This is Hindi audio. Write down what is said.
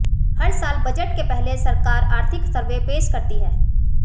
हर साल बजट के पहले सरकार आर्थिक सर्वे पेश करती है